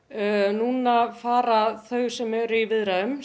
núna fara þau sem eru í viðræðum